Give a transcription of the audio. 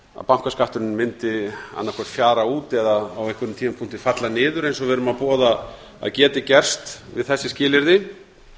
bankaskatturinn mundi annað hvort fjara út eða á einhverjum tímapunkti falla niður eins og við erum að boða að geti gerst við þessi skilyrði